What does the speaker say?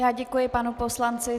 Já děkuji panu poslanci.